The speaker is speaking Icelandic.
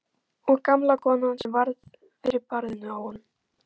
Og gamla konan sem varð fyrir barðinu á honum!